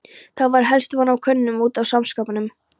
Þá var helst von á kúnnum út af saumaskapnum.